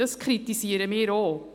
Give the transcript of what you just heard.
Das kritisieren wir auch.